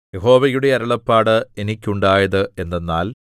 യഹോവയുടെ അരുളപ്പാട് എനിക്കുണ്ടായത് എന്തെന്നാൽ